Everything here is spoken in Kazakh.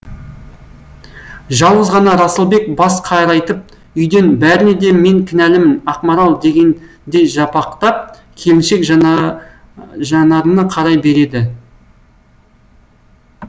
жалғыз ғана расылбек бас қарайтып үйден бәріне де мен кінәлімін ақмарал дегендей жапақтап келіншек жанарына қарай береді